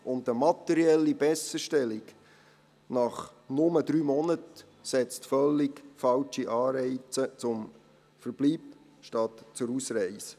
Eine materielle Besserstellung nach nur drei Monaten setzt völlig falsche Anreize zum Verbleib anstatt zur Ausreise.